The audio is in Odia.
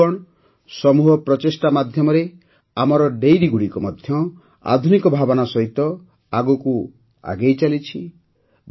ବନ୍ଧୁଗଣ ସମୂହ ପ୍ରଚେଷ୍ଟା ମାଧ୍ୟମରେ ଆମର ଡାଏରୀଗୁଡ଼ିକ ମଧ୍ୟ ଆଧୁନିକ ଭାବନା ସହିତ ଆଗକୁ ଆଗେଇଚାଲିଛି